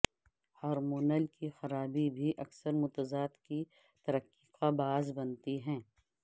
hormonal کی خرابی بھی اکثر متضاد کی ترقی کا باعث بنتی ہے